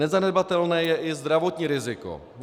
Nezanedbatelné je i zdravotní riziko.